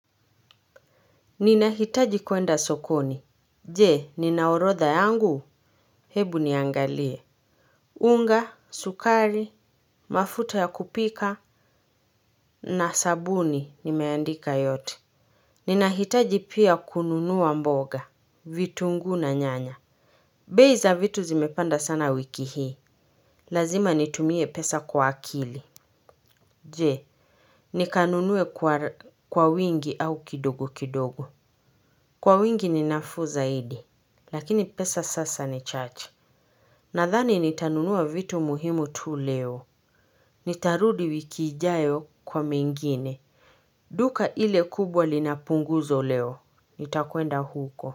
Ninahitaji kwenda sokoni. Je, nina orodha yangu. Hebu niangalie. Unga, sukari, mafuta ya kupika na sabuni nimeandika yote. Ninahitaji pia kununuwa mboga. Vitunguu na nyanya. Bei za vitu zimepanda sana wiki hii. Lazima nitumie pesa kwa akili. Je, nikanunue kwa wingi au kidogo kidogo. Kwa wingi ninafuu zaidi. Lakini pesa sasa ni chache. Nadhani nitanunua vitu muhimu tu leo. Nitarudi wiki ijayo kwa mengine. Duka ile kubwa linapunguzo leo. Nitakwenda huko.